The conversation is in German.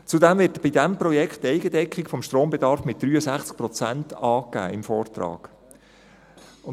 Zudem wird bei diesem Projekt im Vortrag die Eigendeckung des Strombedarfs mit 63 Prozent angegeben.